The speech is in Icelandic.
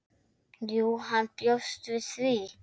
Jú, hann bjóst við því.